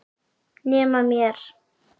Nema mér.